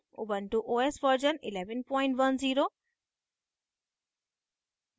ubuntu os version 1110